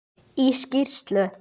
Í skýrslu